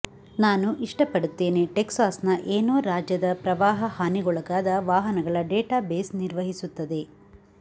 ನಾನು ಇಷ್ಟಪಡುತ್ತೇನೆ ಟೆಕ್ಸಾಸ್ನ ಏನೋ ರಾಜ್ಯದ ಪ್ರವಾಹ ಹಾನಿಗೊಳಗಾದ ವಾಹನಗಳ ಡೇಟಾಬೇಸ್ ನಿರ್ವಹಿಸುತ್ತದೆ